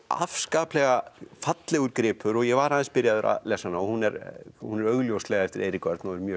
afskaplega fallegur gripur ég var aðeins byrjaður að lesa hana og hún er hún er augljóslega eftir Eirík Örn og er mjög